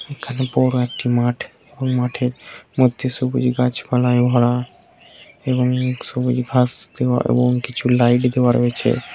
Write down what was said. এখানে বড় একটি মাঠ এবং মাঠের মধ্যে সবুজ গাছপালায় ভরা এবং সবুজ ঘাস দেওয়া এবং কিছু লাইট দেওয়া রয়েছে।